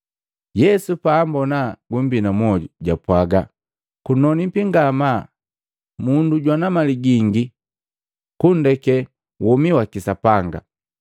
Yesu paambona gumbina mmoju, japwaga, “Kunonipi ngamaa mundu jwana mali gingi kundeke womi waki Sapanga!